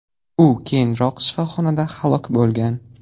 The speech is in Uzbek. U keyinroq shifoxonada halok bo‘lgan.